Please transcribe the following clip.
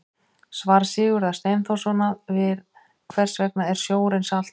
Svar Sigurðar Steinþórssonar við Hvers vegna er sjórinn saltur?